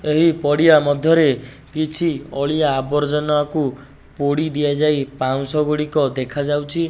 ଏହି ପଡିଆ ମଧ୍ୟରେ କିଛି ଅଳିଆ ଆବର୍ଜନାକୁ ପୋଡି ଦିଆଯାଇ ପାଉଁଶଗୁଡିକ ଦେଖାଯାଉଛି।